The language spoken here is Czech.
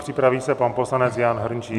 Připraví se pan poslanec Jan Hrnčíř.